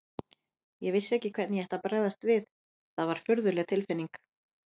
Ég vissi ekki hvernig ég ætti að bregðast við, það var furðuleg tilfinning.